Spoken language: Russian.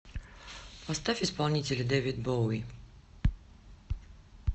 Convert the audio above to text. поставь исполнителя дэвид боуи